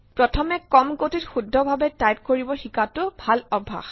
প্ৰথমে কম গতিত শুদ্ধভাৱে টাইপ কৰিব শিকাটো ভাল অভ্যাস